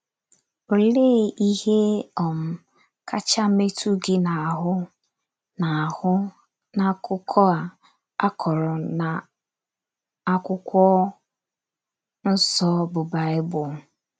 Olee ihe um kacha metụ gị n'ahụ n'ahụ n'akụkọ a, akọrọ n'akwụkwọ nsọ bụ Baịbụl?